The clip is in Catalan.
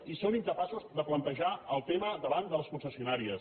i són incapaços de plantejar el tema davant de les concessionàries